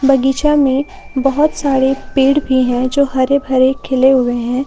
बगीचा में बहुत सारे पेड़ भी है जो हरे भरे खिले हुए हैं।